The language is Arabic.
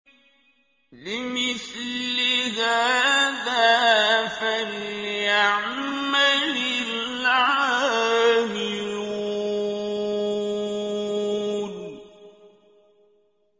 لِمِثْلِ هَٰذَا فَلْيَعْمَلِ الْعَامِلُونَ